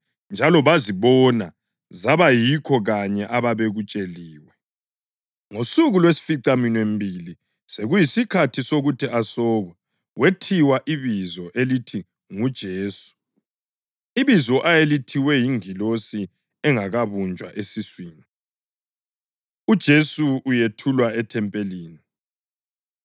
Ngosuku lwesificaminwembili, sekuyisikhathi sokuthi asokwe, wethiwa ibizo elithi nguJesu, ibizo ayelithiwe yingilosi engakabunjwa esiswini. UJesu Uyethulwa EThempelini